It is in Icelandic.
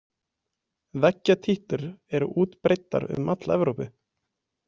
Veggjatítlur er útbreiddar um alla Evrópu.